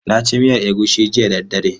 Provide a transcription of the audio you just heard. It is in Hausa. Na ci miyan egusi jiya da daddare.